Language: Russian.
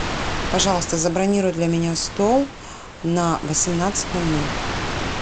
пожалуйста забронируй для меня стол на восемнадцать ноль ноль